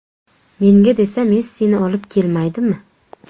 Menga desa Messini olib kelmaydimi.